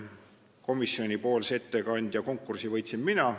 Komisjoni ettekandja konkursi võitsin mina.